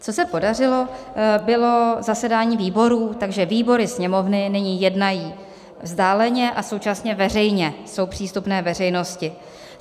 Co se podařilo, bylo zasedání výborů, takže výbory Sněmovny nyní jednají vzdáleně a současně veřejně, jsou přístupné veřejnosti.